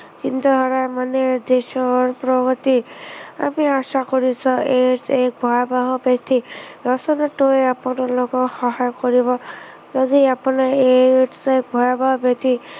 সুস্থ থকা মানেই দেশৰ প্ৰগতি। আমি আশা কৰিছো AIDS এক ভয়াৱহ ব্য়াধি প্ৰচাৰতো আপোনালোকেও সহায় কৰিব। যদি আপুনি AIDS এক ভয়াৱহ ব্য়াধি।